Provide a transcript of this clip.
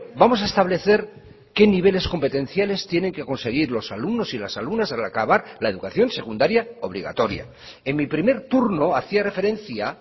vamos a establecer qué niveles competenciales tienen que conseguir los alumnos y las alumnas al acabar la educación secundaria obligatoria en mi primer turno hacía referencia